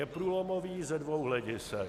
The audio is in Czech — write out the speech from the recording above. Je průlomový ze dvou hledisek.